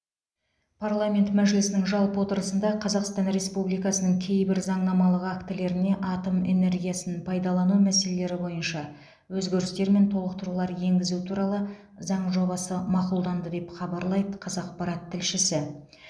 парламент мәжілісінің жалпы отырысында қазақстан республикасының кейбір заңнамалық актілеріне атом энергиясын пайдалану мәселелері бойынша өзгерістер мен толықтырулар енгізу туралы заң жобасы мақұлданды деп хабарлайды қазақпарат тілшісі